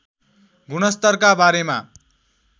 गुणस्तरका बारेमा